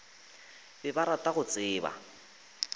be ba rata go tseba